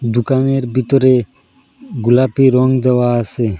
দুকানের বিতরে গোলাপি রং দেওয়া আসে।